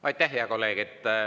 Aitäh, hea kolleeg!